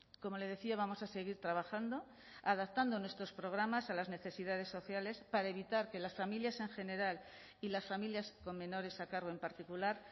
como le decía vamos a seguir trabajando adaptando nuestros programas a las necesidades sociales para evitar que las familias en general y las familias con menores a cargo en particular